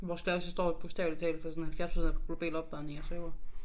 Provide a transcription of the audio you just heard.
Vores klasse står jo bogstavelig talt for sådan 70% af global opvarmning jeg sværger